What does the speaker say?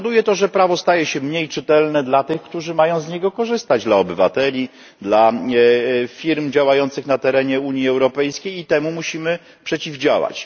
Powoduje to, że prawo staje się mniej czytelne dla tych, którzy mają z niego korzystać dla obywateli, dla firm działających na terenie Unii Europejskiej, i temu musimy przeciwdziałać.